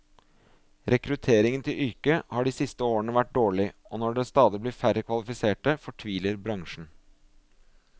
Rekrutteringen til yrket har de siste årene vært dårlig, og når det stadig blir færre kvalifiserte, fortviler bransjen.